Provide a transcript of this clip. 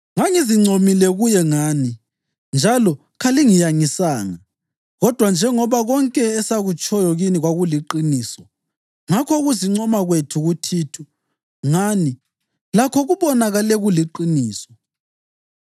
Ngangizincomile kuye ngani njalo kalingiyangisanga. Kodwa njengoba konke esakutshoyo kini kwakuliqiniso, ngakho ukuzincoma kwethu kuThithu ngani lakho kubonakale kuliqiniso.